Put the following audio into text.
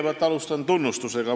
Ma alustan kõigepealt tunnustusega.